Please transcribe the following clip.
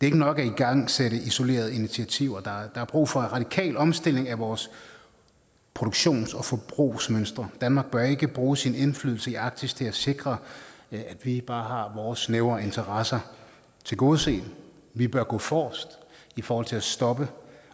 ikke nok at igangsætte isolerede initiativer der er brug for en radikal omstilling af vores produktions og forbrugsmønstre danmark bør ikke bruge sin indflydelse i arktis til at sikre at vi bare har vores snævre interesser tilgodeset vi bør gå forrest i forhold til at stoppe